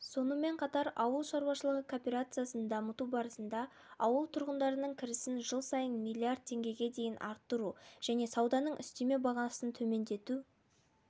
сонымен қатар ауыл шаруашылығы кооперациясын дамыту барысында ауыл тұрғындарының кірісін жыл сайын миллиард теңгеге дейін арттыру және сауданың үстеме бағасын төмендету